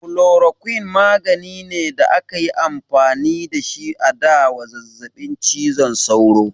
Chloroquine magani ne da akayi amfani da shi a da wa zazzabin cizon sauro